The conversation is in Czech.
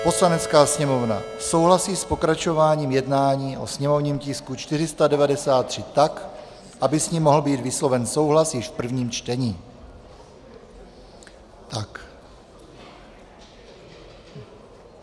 "Poslanecká sněmovna souhlasí s pokračováním jednání o sněmovním tisku 493 tak, aby s ním mohl být vysloven souhlas již v prvním čtení."